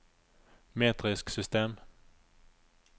metrisk system